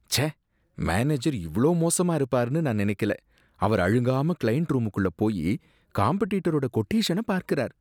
ச்சே, மேனேஜர் இவ்ளோ மோசமா இருப்பார்னு நான் நினைக்கல, அவர் அழுங்காம க்ளையண்ட் ரூம்குள்ள போயி காம்பெடிட்டரோட கொட்டேஷன பார்க்கிறார்.